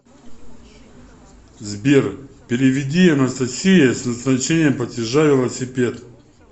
сбер переведи анастасие с назначением платежа велосипед